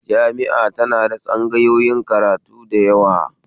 Jami'a tana da tsangayoyin karatu da yawa